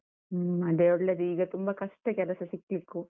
ಹ್ಮ್ ಅದೇ ಒಳ್ಳೆದು, ಈಗ ತುಂಬ ಕಷ್ಟ ಕೆಲಸ ಸಿಕ್ಲಿಕ್ಕು.